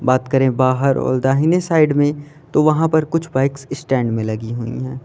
बात करें बाहर और दाहिने साइड में तो वहां पर कुछ बाइक स्टैंड भी लगी हुई है।